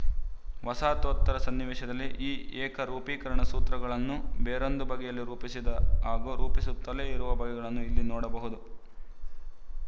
ವಸಾಹತೋತ್ತರ ಸನ್ನಿವೇಶದಲ್ಲಿ ಈ ಏಕರೂಪೀಕರಣ ಸೂತ್ರಗಳನ್ನು ಬೇರೊಂದು ಬಗೆಯಲ್ಲಿ ರೂಪಿಸಿದ ಹಾಗೂ ರೂಪಿಸುತ್ತಲೇ ಇರುವ ಬಗೆಗಳನ್ನೂ ಇಲ್ಲಿ ನೋಡಬಹುದು